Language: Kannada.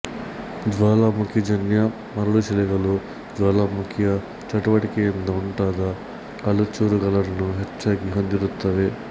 ಜ್ವಾಲಾಮುಖಿಜನ್ಯ ಮರಳುಶಿಲೆಗಳು ಜ್ವಾಲಾಮುಖಿಯ ಚಟುವಟಿಕೆಯಿಂದ ಉಂಟಾದ ಕಲ್ಲುಚೂರುಗಳನ್ನು ಹೆಚ್ಚಾಗಿ ಹೊಂದಿರುತ್ತವೆ